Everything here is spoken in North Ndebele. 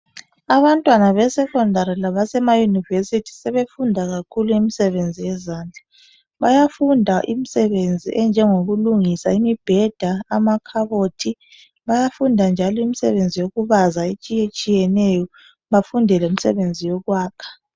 Abantwana be secondary labesema university sebefunda kakhulu imisebenzi yezandla , bayafunda imsebenzi enjengokulungisa imibheda , amakhabothi , bayafunda njalo imisebenzi yokubaza etshiyetshiyeneyo bafunde lemsebenzi yokwakha